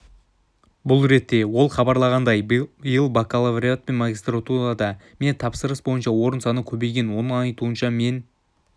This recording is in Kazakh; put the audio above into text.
бұл ретте ол хабарлағандай биыл бакалавриат пен магистратурада мемтапсырыс бойынша орын саны көбейген оның айтуынша мен